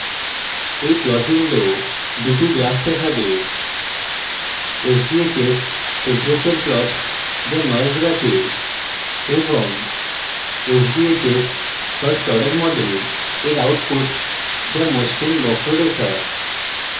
এই plot window দুটি graphs দেখাবে sbhs temperature plot যা noise রাখে এবং sbhs first order model এর output যা মসৃণ বক্ররেখা